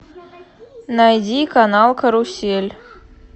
найди канал карусель